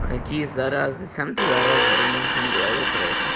какие заразы сам ты зараза я ничего не говорил про это